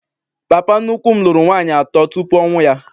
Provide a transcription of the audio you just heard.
Papa nnukwu m lụrụ nwaanyị atọ tupu ọnwụ a.